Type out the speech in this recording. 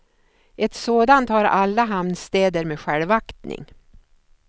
Ett sådant har alla hamnstäder med självaktning.